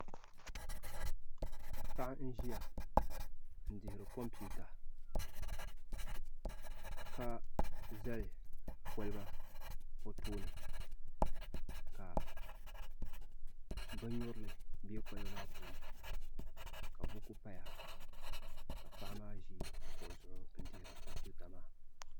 Paɣa n ʒiya n dihiri kompiuta ka zali kolba o tooni ka bin nyurili bɛ kolba maa puuni ka buku paya ka paɣa maa ʒi kuɣu zuɣu n dihiri kompiuta maa